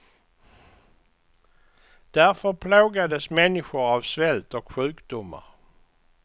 Därför plågades människor av svält och sjukdomar.